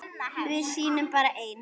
Við sýnum bara ein